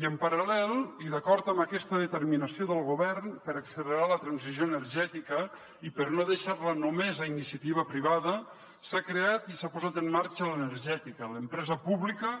i en paral·lel i d’acord amb aquesta determinació del govern per accelerar la transició energètica i per no deixar la només a iniciativa privada s’ha creat i s’ha posat en marxa l’energètica l’empresa pública